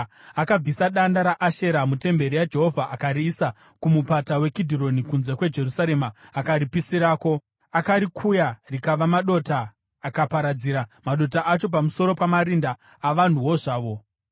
Akabvisa danda raAshera mutemberi yaJehovha akariisa kuMupata weKidhironi kunze kweJerusarema akaripisirako. Akarikuya rikava madota, akaparadzira madota acho pamusoro pamarinda avanhuwo zvavo.